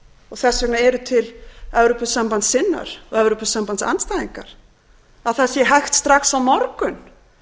og þess vegna eru til evrópusambandssinnar og evrópusambandsandstæðingar að það sé hægt strax á morgun